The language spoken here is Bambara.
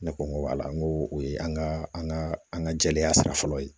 Ne ko n ko wala n ko o ye an ka an ka an ka jɛya sira fɔlɔ ye